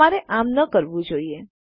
તમારે આમ ન કરવું જોઈએ